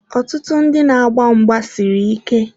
Ọtụtụ ndị na-agba mgba siri ike.